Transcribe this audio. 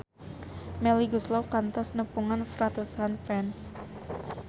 Melly Goeslaw kantos nepungan ratusan fans